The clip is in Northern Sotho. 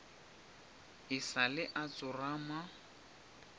e sa le a tsorama